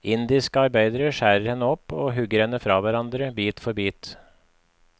Indiske arbeidere skjærer henne opp og hugger henne fra hverandre bit for bit.